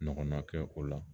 Ɲɔgɔnna kɛ o la